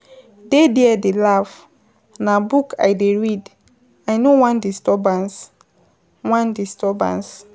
Dey there dey laugh, na book I dey read, I no wan disturbance, wan disturbance.